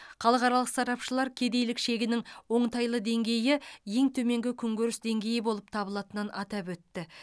халықаралық сарапшылар кедейлік шегінің оңтайлы деңгейі ең төменгі күнкөріс деңгейі болып табылатынын атап өтті